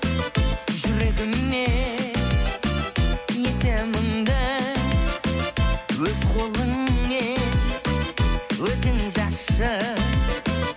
жүрегіме есіміңді өз қолыңмен өзің жазшы